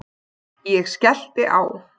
Ég skellti á.